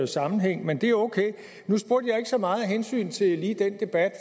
sammenhæng men det er okay nu spurgte jeg ikke så meget af hensyn til lige den debat